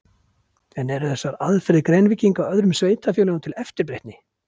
En eru þessar aðferðir Grenvíkinga öðrum sveitarfélögum til eftirbreytni?